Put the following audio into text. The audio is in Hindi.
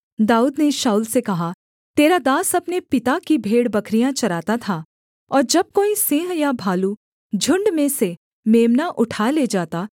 दाऊद ने शाऊल से कहा तेरा दास अपने पिता की भेड़बकरियाँ चराता था और जब कोई सिंह या भालू झुण्ड में से मेम्ना उठा ले जाता